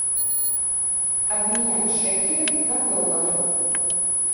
обменять шекели на доллары